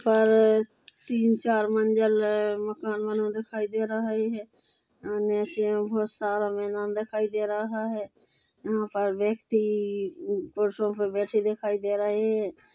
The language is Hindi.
यहाँ पर तीन चार मंज़िल मकान बना हुआ दिखाई दे रहा है नीचे में बहोत सारा मैदान दिखाई दे रहा है यहाँ पर व्यक्ति फर्शो पर बैठे दिखाई दे रहे है।